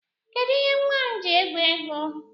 Kedụ ihe nwa m ji egwu egwu?